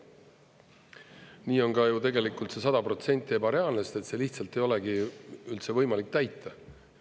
Nii on ka ju tegelikult see 100% ebareaalne, sest seda lihtsalt ei olegi üldse võimalik täita.